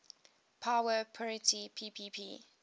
power parity ppp